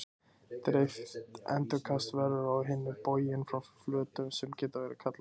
Dreift endurkast verður á hinn bóginn frá flötum sem við getum kallað matta.